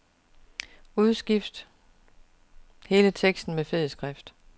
Udskift hele teksten med fed skrift.